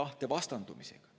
tahte vastandumisega.